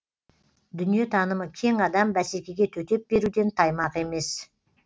дүниетанымы кең адам бәсекеге төтеп беруден таймақ емес